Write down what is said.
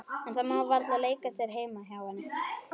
En það má varla leika sér heima hjá henni.